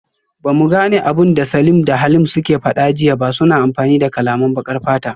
Bamu gane abinda Salim da Halim suke fada jiya ba, suna amfani da kalaman bakar fata